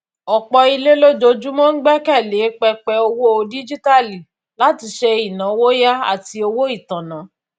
ọpọ ilé lójoojúmọ ń gbẹkẹ lé pẹpẹ owó díjíítàálì láti ṣe ináwó yá àti owó itanna